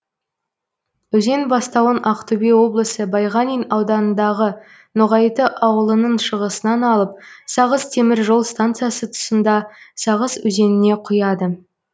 өзен бастауын ақтөбе облысы байғанин ауданындағы ноғайты аулының шығысынан алып сағыз темір жол стансасы тұсында сағыз өзеніне құяды